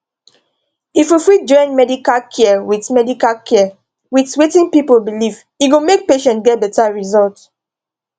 if we fit join medical care with medical care with wetin people believe e go make patients get better result